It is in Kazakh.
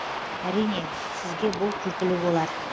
әрине сізге бұл күлкілі болар